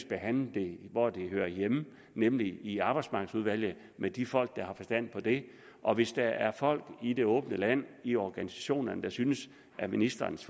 behandle det hvor det hører hjemme nemlig i arbejdsmarkedsudvalget med de folk der har forstand på det og hvis der er folk i det åbne land i organisationerne der synes at ministerens